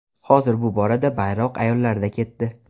Hozir bu borada bayroq ayollarda ketdi.